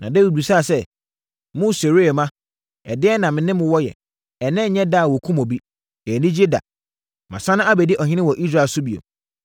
Na Dawid bisaa sɛ, “Mo Seruia mma, ɛdeɛn na me ne mo wɔ yɛ? Ɛnnɛ nnyɛ da a wɔkum obi. Ɛyɛ anigyeɛ da! Masane abɛdi ɔhene wɔ Israel so bio!”